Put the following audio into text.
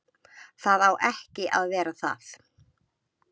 Það á ekki að vera það.